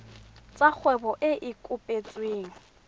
tsa kgwebo e e kopetsweng